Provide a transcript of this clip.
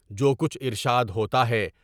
جو کچھ ارشاد ہوتا ہے۔